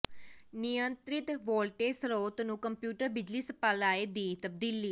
ਨਿਯੰਤ੍ਰਿਤ ਵੋਲਟੇਜ ਸਰੋਤ ਨੂੰ ਕੰਪਿਊਟਰ ਬਿਜਲੀ ਸਪਲਾਈ ਦੀ ਤਬਦੀਲੀ